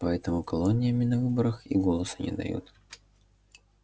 поэтому колониями на выборах и голоса не дают